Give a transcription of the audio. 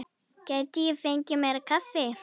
Gæti ég fengið meira kaffi?